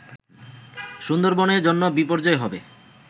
সুন্দরবনের জন্য বিপর্যয় হবে